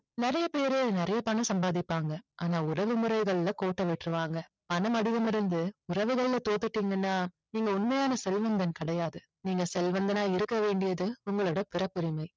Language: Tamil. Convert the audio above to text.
நிறைய பேரு நிறைய பணம் சம்பாதிப்பாங்க ஆனா உறவு முறைகளில கோட்டை விட்டுருவாங்க பணம் அதிகமா இருந்து உறவுகளில தோத்துட்டீங்கன்னா நீங்க உண்மையான செல்வந்தன் கிடையாது நீங்க செல்வந்தனா இருக்க வேண்டியது உங்களுடைய பிறப்புரிமை